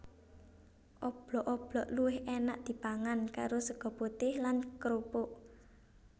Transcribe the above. Oblok oblok luwih énak dipangan karo sega putih lan krupuk